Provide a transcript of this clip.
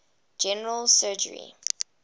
general surgery